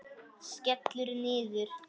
Skellur niður.